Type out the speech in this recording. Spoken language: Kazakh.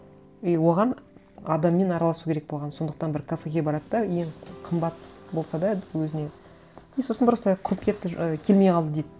и оған адаммен араласу керек болған сондықтан бір кафеге барады да ең қымбат болса да өзіне и сосын просто құрып кетті ы келмей қалды дейді